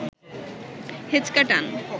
হেঁচকা টান